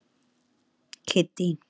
Kiddý